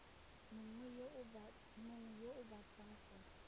mongwe yo o batlang go